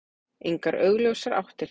Engar augljósar áttir.